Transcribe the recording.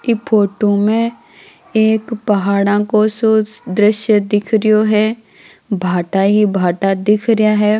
की फोटो मे एक पहाड़ा को सो दृश्य दिख रहियो है भाटा ही भाटा दिखरा है।